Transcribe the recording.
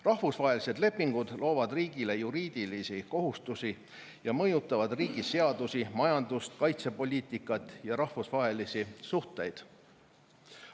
Rahvusvahelised lepingud loovad riigile juriidilisi kohustusi ja mõjutavad riigi seadusi, majandust, kaitsepoliitikat ja rahvusvahelisi suhteid.